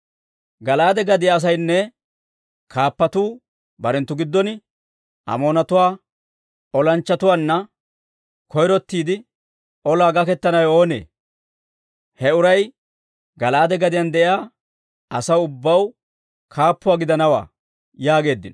Gala'aade gadiyaa asaynne kaappatuu barenttu giddon, «Amoonatuwaa olanchchatuwaanna koyrottiide olaa gakettanawe oonee? He uray Gala'aade gadiyaan de'iyaa asaw ubbaw kaappuuwaa gidanawaa» yaageeddino.